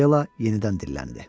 Akela yenidən dilləndi.